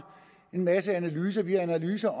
en masse analyser vi har analyser